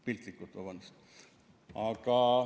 Piltlikult, vabandust!